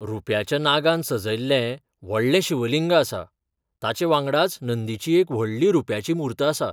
रुप्याच्या नागान सजयल्लें व्हडलें शिवलिंग आसा, ताचे वांगडाच नंदीची एक व्हडली रुप्याची मूर्त आसा.